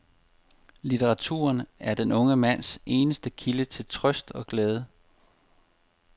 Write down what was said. Litteraturen er den unge mands eneste kilde til trøst og glæde.